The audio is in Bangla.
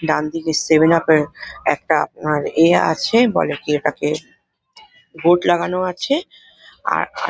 ডানদিকে সেভেন আপ -এর একটা আপনার এ ইয়ে আছে | বলে কি এটাকে বোর্ড লাগানো আছে | আর --